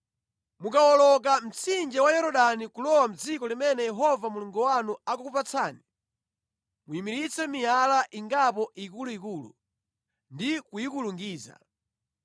Mukawoloka mtsinje wa Yorodani kulowa mʼdziko limene Yehova Mulungu wanu akukupatsani, muyimiritse miyala ingapo ikuluikulu ndi kuyikulungiza.